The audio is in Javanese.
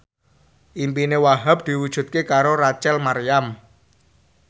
impine Wahhab diwujudke karo Rachel Maryam